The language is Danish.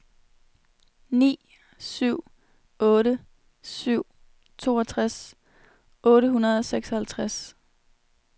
ni syv otte syv toogtres otte hundrede og seksoghalvtreds